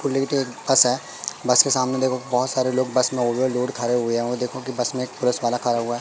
बस है बस के सामने देखो बोहोत सारे लोग बस में ओवरलोड खरे हुए हैं वो देखो की बस में एक प्रेस वाला खरा हुआ--